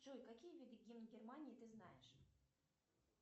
джой какие виды гимн германии ты знаешь